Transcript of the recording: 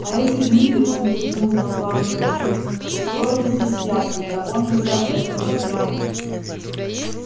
а эти гниды он кивнул на флаг ганзы устроили здесь ясли того нельзя этого нельзя